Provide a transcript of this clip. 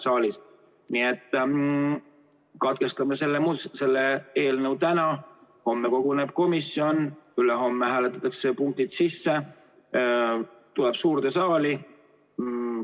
Nii et katkestame selle lugemise täna, homme koguneb komisjon, ülehomme hääletatakse punktid sisse ja eelnõu tuleb suurde saali.